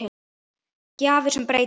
Gjafir sem breyta.